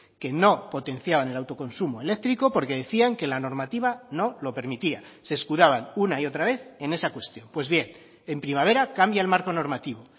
que no potenciaban el autoconsumo eléctrico porque decían que la normativa no lo permitía se escudaban una y otra vez en esa cuestión pues bien en primavera cambia el marco normativo